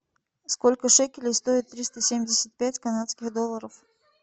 сколько шекелей стоит триста семьдесят пять канадских долларов